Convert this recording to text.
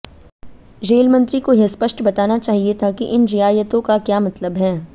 rail मंत्री को यह स्पष्ट बताना चाहिए था कि इन रियायतों का क्या मतलब है